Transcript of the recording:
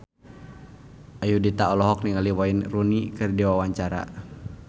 Ayudhita olohok ningali Wayne Rooney keur diwawancara